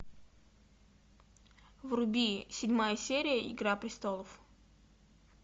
вруби седьмая серия игра престолов